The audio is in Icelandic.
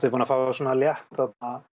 búinn að fá létta